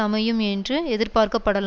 அமையும் என்றும் எதிர்பார்க்கப்படல